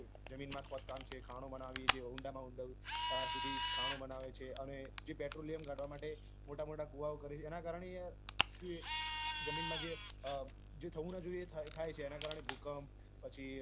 જમીનમાં ખોદકામ છે ખાણો બનાવી જે ઊંડામાં ઊંડા સુધી ખાણો બનાવે છે અને જે petroleum કાઢવા માટે મોટા મોટા કુવાઓ કરે છે એના કારણે યાર શું એ જમીનમાં જે થવું ના જોઈએ એ થાય છે એના કારણે ભૂકંપ પછી